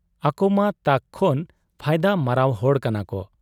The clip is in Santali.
ᱟᱠᱚᱢᱟ ᱛᱟᱠ ᱠᱷᱚᱱ ᱯᱷᱟᱭᱫᱟ ᱢᱟᱨᱟᱣ ᱦᱚᱲ ᱠᱟᱱᱟᱠᱚ ᱾